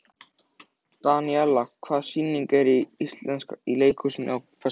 Daníela, hvaða sýningar eru í leikhúsinu á föstudaginn?